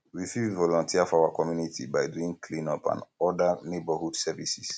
we fit volunteer for our community by doing cleanup and oda neighbourhood services